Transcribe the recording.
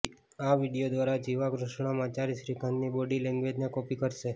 આ વીડિયો દ્વારા જિવા કૃષ્ણમાચારી શ્રીકાંતની બોડી લેંગ્વેજને કોપી કરશે